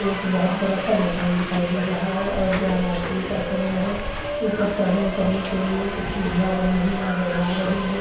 एक बहोत बड़ा-सा माकन दिखाई दे रहा है और यह रात्री का समय है ऊपर चढ़ने-उतरने के लिए कुछ सीड़ीया बनी हुई नज़र आ रही है।